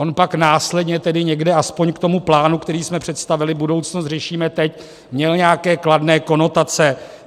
On pak následně tedy někde aspoň k tomu plánu, který jsme představili - Budoucnost řešíme teď - měl nějaké kladné konotace.